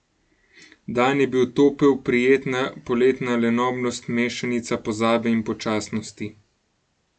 Dan je bil topel, prijetna poletna lenobnost, mešanica pozabe in počasnosti.